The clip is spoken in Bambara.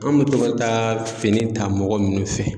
An be to ka taa fini ta mɔgɔ minnu fɛ